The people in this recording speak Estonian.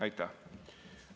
Aitäh!